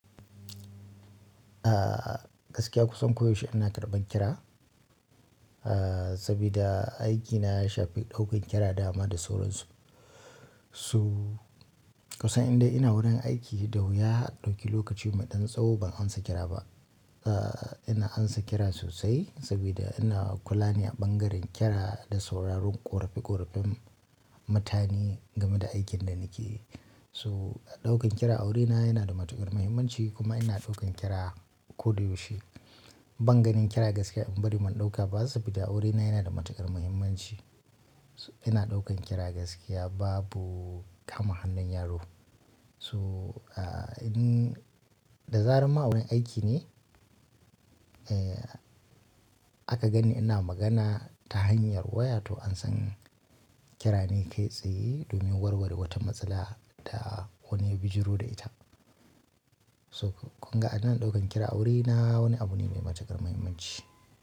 Ah gaskiya kusan koyaushe ina karɓan kira, ah saboda aikina ya shafi ɗaukan kira dama da sauransu. So kusan indai ina wurin aiki da wuya a ɗauki lokaci mai ɗan tsawo ban amsa kira ba. Ah ina amsa kira sosai saboda ina kula ne a ɓangaren kira da sauraron ƙorafi ƙorafen mutane game da aikin da nake yi so a ɗaukan kira a wurina yana da matuƙar muhimmanci kuma ina ɗaukan kira koda yaushe. Banganin kira gaskiya in bari man ɗauka ba saboda aurena yana da matuƙar muhimmanci. Ina ɗaukan kira gaskiya babu kama hannun yaro. So ah in da zaran ma'awurini aiki ne, eh aka gani ina magana ta hanyar waya to an san kira ne kai tsaye domin warware wata matsala da wani ya bijiru da ita. So kunga anan ɗaukan kira aurena wani abu ne mai matuƙar muhimmanci.